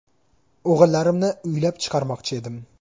O‘g‘illarimni uylab chiqarmoqchi edim.